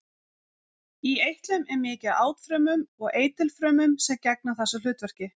Í eitlum er mikið af átfrumum og eitilfrumum sem gegna þessu hlutverki.